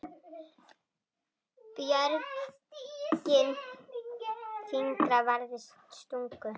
Björgin fingra varðist stungu.